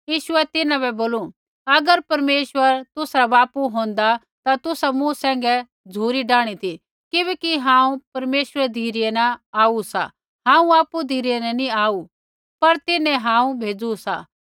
यीशुऐ तिन्हां बै बोलू अगर परमेश्वर तुसरा बापू होन्दा ता तुसा मूँ सैंघै झ़ुरी डाहणी ती किबैकि हांऊँ परमेश्वरै री धिरै न आऊ सा हांऊँ आपु धिरै न नी आऊ सा पर तिन्हैं हांऊँ भेज़ू सा